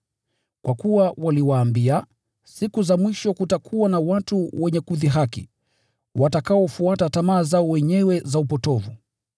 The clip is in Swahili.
Kwa kuwa waliwaambia, “Siku za mwisho kutakuwa na watu wenye kudhihaki, watakaofuata tamaa zao wenyewe za upotovu.”